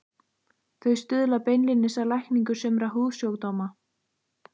Þau stuðla beinlínis að lækningu sumra húðsjúkdóma.